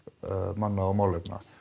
manna og málefna